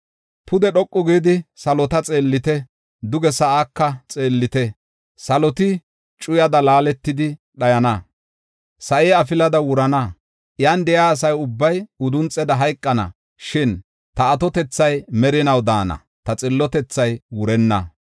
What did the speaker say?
Pude dhoqu gidi salota xeellite; duge sa7aaka xeellite. Saloti cuyada laaletidi dhayana; sa7i afilada wurana; iyan de7iya asa ubbay udunxeda hayqana. Shin ta atotethay merinaw daana; ta xillotethay wurenna.